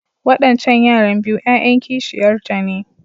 Wadancan yaran biyu ‘ya’yan kishiyarta ne.